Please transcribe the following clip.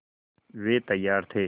वे तैयार थे